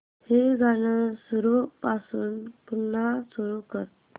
हे गाणं सुरूपासून पुन्हा सुरू कर